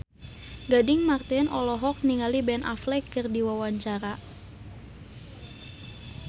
Gading Marten olohok ningali Ben Affleck keur diwawancara